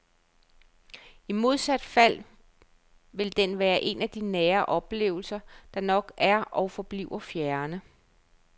I modsat fald vil den være en af nære oplevelser, der nok er og forbliver fjerne.